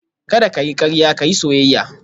Kada ka yi karya ka yi soyayya